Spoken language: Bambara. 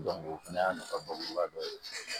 o fana y'a nafa ba dɔ ye